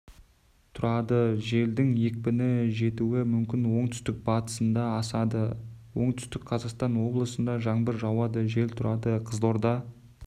тұрады желдің екпіні жетуі мүмкін оңтүстік-батысында асады оңтүстік қазақстан облысында жаңбыр жауады жел тұрады қызылорда